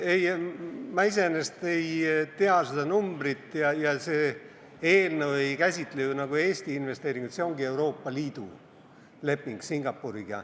Ei, ma iseenesest ei tea seda numbrit ja see eelnõu ei käsitle ju Eesti investeeringuid, see on Euroopa Liidu leping Singapuriga.